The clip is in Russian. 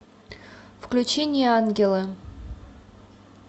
включи неангелы